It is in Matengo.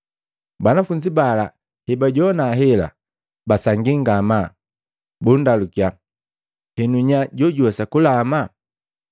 Banafunzi bala hebajowana hela, basangi ngamaa, bunndalukiya, “Henu nya jojuwesa kulama?”